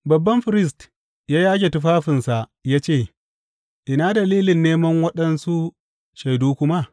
Babban firist ya yage tufafinsa, ya yi ce, Ina dalilin neman waɗansu shaidu kuma?